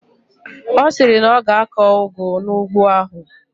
Ọ sịrị na ọ ga-akọ ụgụ n'ugbo ahụ.